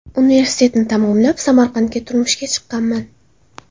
Universitetni tamomlab, Samarqandga turmushga chiqqanman.